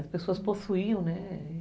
As pessoas possuíam, né?